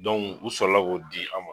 Dɔnku u sɔrɔla la k'o di an ma.